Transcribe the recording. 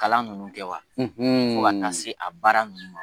Kalan nunnu kɛ wa? ko fo ka taa se a baara nunnu ma.